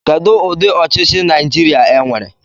Kedụ ụdị ọchịchị Naịjirịa nwere?